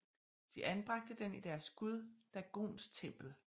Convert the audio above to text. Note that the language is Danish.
De anbragte den i deres gud Dagons tempel